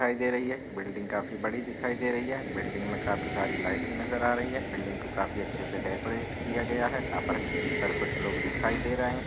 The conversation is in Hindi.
दिखाई दे रही है बिल्डिंग काफी बड़ी दिखाई दे रही है। बिल्डिंग में काफी सारी लाइटिंग नजर आ रही है। बिल्डिंग को काफी अच्छे से डेकोरेट किया गया है जहाँ फील्ड पर कुछ लोग दिखाई दे रहे हैं।